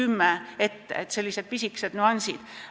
Need on sellised pisikesed nüansid.